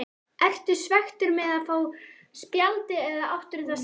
Ertu svekktur með að fá spjaldið eða áttirðu það skilið?